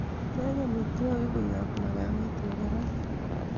teeb omitwogik koyob magaweet negararan